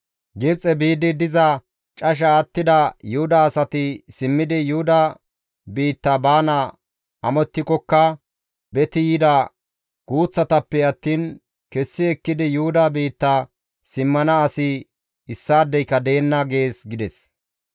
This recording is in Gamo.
Gibxe biidi diza casha attida Yuhuda asati simmidi Yuhuda biitta baana amottikkoka beti yida guuththatappe attiin kessi ekkidi Yuhuda biitta simmana asi issaadeyka deenna› gees» gides.